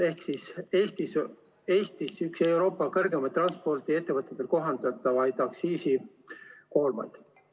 Ehk siis Eestis oli üks Euroopa suurimaid transpordiettevõtetele kohaldatava aktsiisi koormaid.